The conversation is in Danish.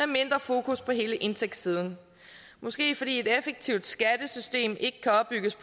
mindre fokus på hele indtægtssiden måske fordi et effektivt skattesystem ikke kan opbygges